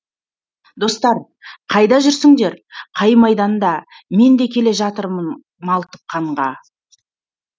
достар қайда жүрсіндер қай майданда мен де келе жатырмын малтып қанға